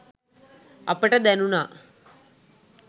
අපට දැණුනා.